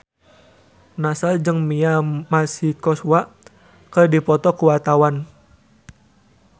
Nassar jeung Mia Masikowska keur dipoto ku wartawan